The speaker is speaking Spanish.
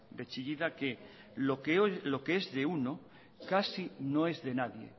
de chillida que lo que es de uno casi no es de nadie